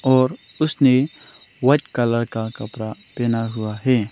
और उसने white colour का कपड़ा पहना हुआ है।